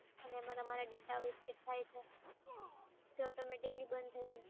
અને મારા data અવ્યવસ્થિત થાય છે. તો તમે quickly બંધ થઈ જશે.